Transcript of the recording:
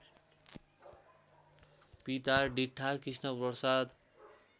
पिता डिट्ठा कृष्णप्रसाद